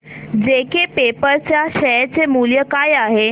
JK paper च्या share चे मूल्य काय आहे